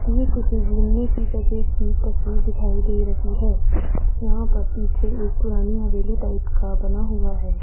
ये किसी मिलने की जगह की तस्वीर दिखाई दे रही है यहां पर पीछे एक पुरानी हवेली टाइप का बना हुआ है।